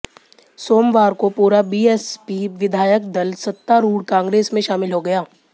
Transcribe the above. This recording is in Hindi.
सोमवार को पूरा बीएसपी विधायक दल सत्तारूढ़ कांग्रेस में शामिल हो गया